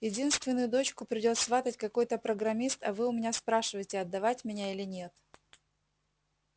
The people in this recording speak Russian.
единственную дочку придёт сватать какой-то программист а вы у меня спрашиваете отдавать меня или нет